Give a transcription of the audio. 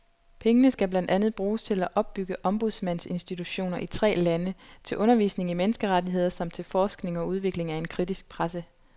Pengene skal blandt andet bruges til at opbygge ombudsmandsinstitutioner i tre lande, til undervisning i menneskerettigheder samt til forskning og udvikling af en kritisk presse.